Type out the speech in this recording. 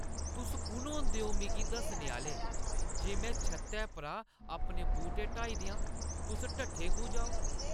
तुस कु'न होंदे ओ मिगी दस्सने आह्‌ले जे में छत्तै परा अपने बूह्‌टे हटाई देआं? तुस ढट्ठे खूह् जाओ ?